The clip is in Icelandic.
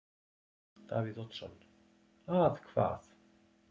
Davíð Oddsson: Að hvað?